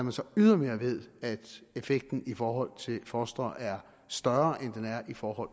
vi så ydermere ved at effekten i forhold til fostre er større end den er i forhold